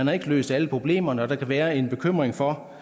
har løst alle problemerne og at der kan være en bekymring for